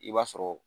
I b'a sɔrɔ